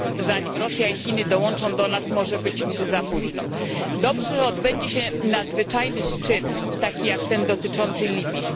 Zanim Rosja i Chiny do nas dołączą, może być za późno. Dobrze, że odbędzie się nadzwyczajny szczyt, taki jak ten dotyczący Libii.